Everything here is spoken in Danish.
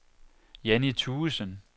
Jannie Thuesen